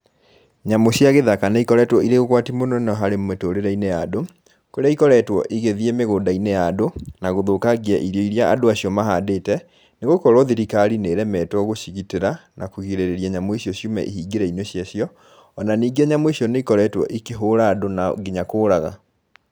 Nyamũ cia gĩthaka nĩ ikoretwo irĩ ũgwati mũnene harĩ mĩtũrĩre-inĩ ya andũ, kũrĩa ikoretwo igĩthiĩ mĩgũnda-inĩ ya andũ, na gũthũkangia irio iria andũ acio mahandĩte, nĩgũkorwo thirikari nĩ ĩremetwo gũcigitĩra na kũrigĩrĩria nyamũ icio ciume ihingĩro-inĩ cia cio, ona ningĩ nyamũ icio nĩ ikoretwo ikĩhũra andũ na nginya kũraga.